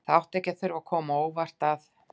Það átti því ekki að þurfa að koma á óvart að